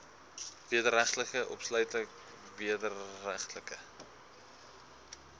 wederregtelike opsluiting wederregtelike